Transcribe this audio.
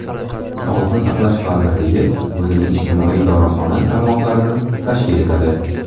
Sog‘liqni saqlash vazirligi o‘zining ijtimoiy dorixona tarmoqlarini tashkil etadi .